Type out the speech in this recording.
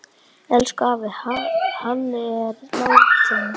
Elsku afi Halli er látinn.